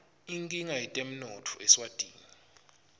inkinga yetemnotfo eswatini